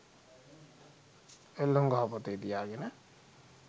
එල්ලුම් ගහ පොතේ තියාගෙන